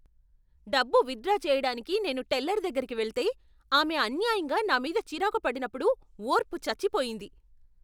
డబ్బు withdraw చేయడానికి నేను టెల్లర్ దగ్గరకి వెళ్తే, ఆమె అన్యాయంగా నా మీద చిరాకు పడినప్పుడు ఓర్పు చచ్చిపోయింది.